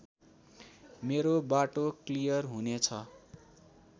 मेरो बाटो क्लियर हुनेछ